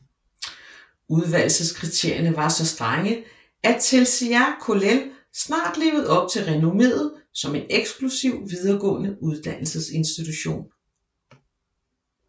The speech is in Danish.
Udvælgelseskriterierne var så strenge at Telšiai Kollel snart levede op til renommeet som en eksklusiv videregående uddannelsesinstitution